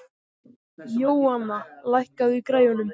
Jóanna, lækkaðu í græjunum.